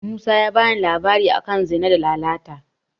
Musa ya bani labari a kan Zina da Lalata.